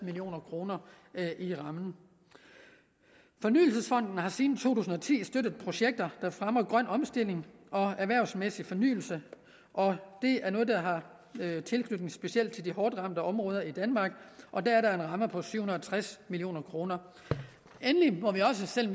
million kroner i rammen fornyelsesfonden har siden to tusind og ti støttet projekter der fremmer grøn omstilling og erhvervsmæssig fornyelse og det er noget der har tilknytning specielt til de hårdt ramte områder i danmark og der er en ramme på syv hundrede og tres million kroner endelig må vi også selv